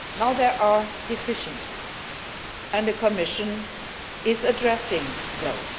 There are deficiencies, and the Commission is addressing those.